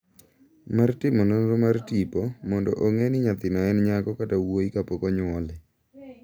mar timo nonro mar tipo mondo ong’e ni nyathino en nyako kata wuoyi kapok onyuole.